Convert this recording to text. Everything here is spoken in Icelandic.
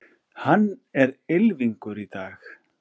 Hann er ylfingur í dag.